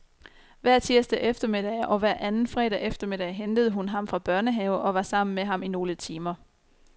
Hver tirsdag eftermiddag og hver anden fredag eftermiddag hentede hun ham fra børnehave og var sammen med ham i nogle timer.